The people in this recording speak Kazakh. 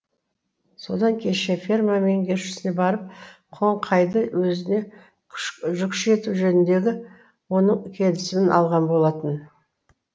содан кеше ферма меңгерушісіне барып қоңқайды өзіне жүкші ету жөніндегі оның келісімін алған болатын